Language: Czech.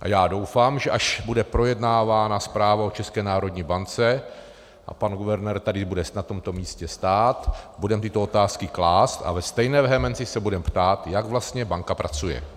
A já doufám, že až bude projednávána zpráva o České národní bance a pan guvernér tady bude na tomto místě stát, budeme tyto otázky klást a ve stejné vehemenci se budeme ptát, jak vlastně banka pracuje.